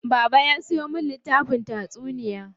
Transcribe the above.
Baba ya siyo min littafin tatsuniya.